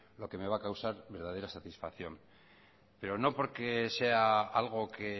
lo que me va a causar verdadera satisfacción pero no porque sea algo que